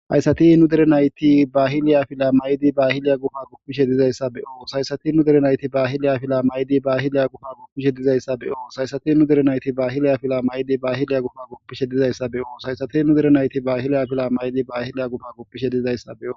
Hayssati nu dere nayti bahiliya afila may7idi bahiliya gufa gupishe dizayssa be7oos.hayssati nu derenayti bahiliya fila mayidi bahiliya gufa guppishe dizayssa beyos.haysati nu derenayti ba hiliya fila mayidi baahiliya gufa goppishe dizayssa beyoos haysati hinu derenayti bahiliya fila mayidi baahiliya gufa goppishe dizayssa beos.